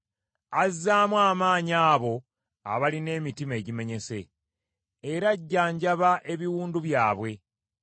Azzaamu amaanyi abo abalina emitima egimenyese, era ajjanjaba ebiwundu byabwe.